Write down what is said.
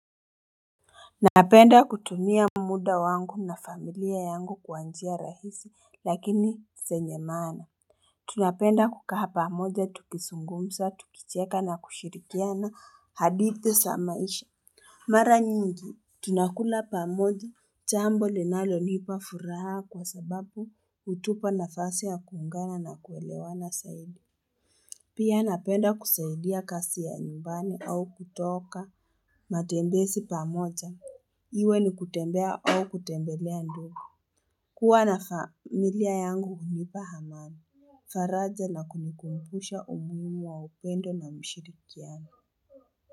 Napenda kutumia muda wangu na familia yangu kwa njia rahisi lakini zenye maana Tunapenda kukaa pamoja tukizungumza tukicheka na kushirikiana hadithi za maisha Mara nyingi tunakula pamoja chambo linalo nipa furaha kwa sababu hutupa nafasi ya kuungana na kuelewana saidi Pia napenda kusaidia kasi ya nyumbani au kutoka matembesi pamoja Iwe ni kutembea au kutembelea nduo. Kuwa na familia yangu hunipa hamani. Faraja na kunikupusha umuhimu wa upendo na mshirikiano.